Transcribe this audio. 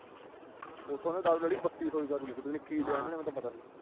ਉੱਥੋਂ ਇਹਨਾਂ ਨੇ ਦਾਰੂ ਲੈ ਲਈ, ਬੱਤੀ ਸੌ ਦੀ ਦਾਰੂ ਲੈ ਲਈ, ਪਤਾ ਨੀ ਕੀ ਲਿਆ ਇਹਨਾਂ ਨੇ, ਮੈਨੂੰ ਤਾਂ ਪਤਾ ਨੀ।